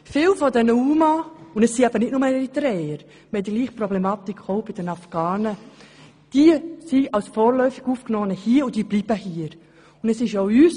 Viele der UMA – es sind eben nicht nur Eritreer, dieselbe Problematik besteht bei den Afghanen – sind als vorläufig Aufgenommene hier und sie bleiben auch hier.